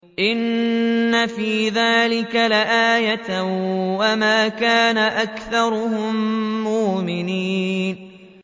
إِنَّ فِي ذَٰلِكَ لَآيَةً ۖ وَمَا كَانَ أَكْثَرُهُم مُّؤْمِنِينَ